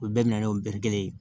U bɛɛ minɛ n'o kelen ye